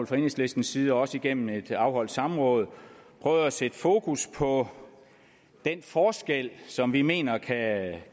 fra enhedslistens side og også igennem det afholdte samråd prøvet at sætte fokus på den forskel som vi mener at